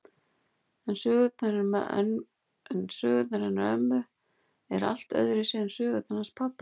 En sögurnar hennar ömmu eru allt öðruvísi en sögurnar hans pabba.